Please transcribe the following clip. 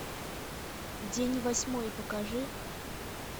день восьмой покажи